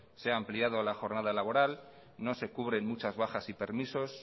se ha ampliado la jornada laboral no se cubren muchas bajas y permisos